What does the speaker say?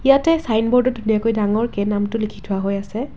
ইয়াতে চাইনবোৰ্ডত ধুনীয়াকৈ ডাঙৰকে নামটো লিখি থোৱা হৈ আছে।